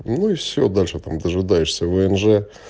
ну и все дальше там дожидаешься внж